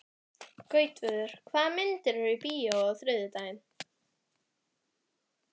Gautviður, hvaða myndir eru í bíó á þriðjudaginn?